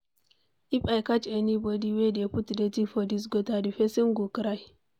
If I catch anybody wey dey put dirty for dis gutter, the person go cry.